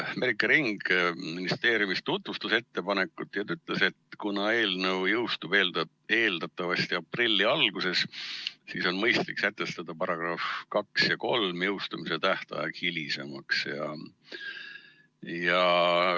Merike Ring ministeeriumist tutvustas ettepanekut ja ütles, et kuna see eelnõu jõustub eeldatavasti aprilli alguses, siis on mõistlik sätestada §-de 2 ja 3 jõustumise tähtajaks hilisem kuupäev.